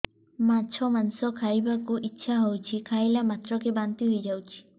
ମାଛ ମାଂସ ଖାଇ ବାକୁ ଇଚ୍ଛା ହଉଛି ଖାଇଲା ମାତ୍ରକେ ବାନ୍ତି ହେଇଯାଉଛି